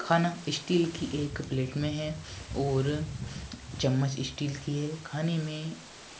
खाना इस्टील की एक प्लेट में हैं और चम्मच इस्टील की हैं खाने में